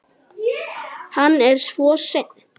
Hann er svo ein